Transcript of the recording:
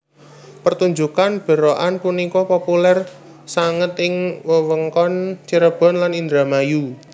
Pertunjukan berokan punika populer sanget ing wewengkon Cirebon lan Indramayu